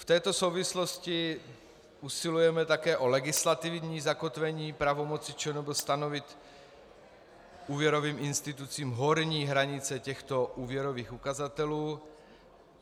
V této souvislosti usilujeme také o legislativní zakotvení pravomoci ČNB stanovit úvěrovým institucím horní hranice těchto úvěrových ukazatelů.